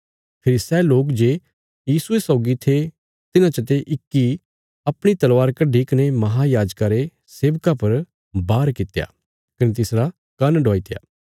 फेरी सै लोक जे यीशुये सौगी थे तिन्हां चते इक्की अपणी तलवार कड्डी कने महायाजका रे सेवका पर बार कित्या कने तिसरा कान्न डवाईत्या